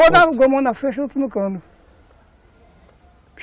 mão na flecha, outro no cano.